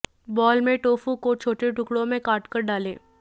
बोल में टोफू को छोटे टुकड़ों में काटकर डालें